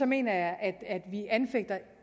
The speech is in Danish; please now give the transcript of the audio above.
mener jeg at vi anfægter